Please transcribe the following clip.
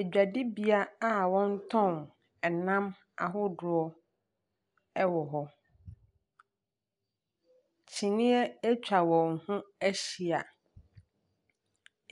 Adwadie bea a wɔn ɛtɔn ɛnam ɛwɔ hɔ. Kyiniiɛ atwa wɔn ho ahyia,